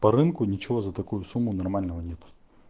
по рынку ничего за такую сумму нормального нет